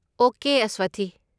Okay, Aswathi.